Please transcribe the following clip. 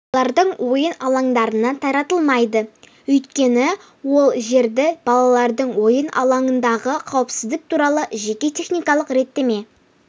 балалардың ойын алаңдарына таратылмайды өйткені ол жерді балалардың ойын алаңындағы қауіпсіздік туралы жеке техникалық реттеме